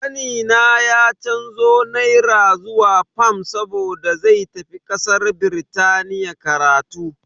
Kanina ya canzo naira zuwa fam saboda zai tafi kasar Birtaniya karatu.